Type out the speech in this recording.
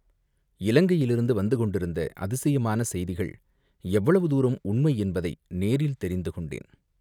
இலங்கையிலிருந்து வந்து கொண்டிருந்த அதிசயமான செய்திகள் எவ்வளவு தூரம் உண்மை என்பதை நேரில் தெரிந்து கொண்டேன்.